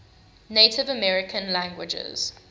native american languages